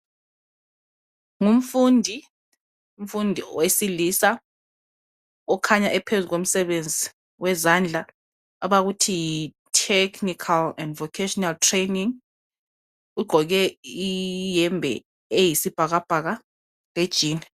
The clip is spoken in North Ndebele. Ngumfundi wesilisa okhanya ephezu komsebenzi wezandla. Ugqoke iyembe eyisibhakabhaka lejini.